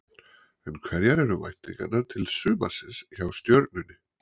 En hverjar eru væntingarnar til sumarsins hjá Stjörnunni?